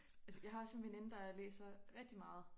Altså jeg har også en veninde der læser rigitg meget